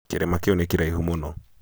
kĩrĩma kĩu nĩ kĩraihu mũno